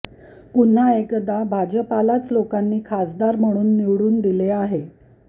पुन्हा एकदा भाजपलाच लोकांनी खासदार म्हणून निवडून दिले आहे